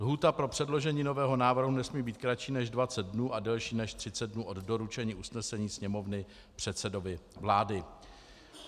Lhůta pro předložení nového návrhu nesmí být kratší než 20 dnů a delší než 30 dnů od doručení usnesení Sněmovny předsedovi vlády.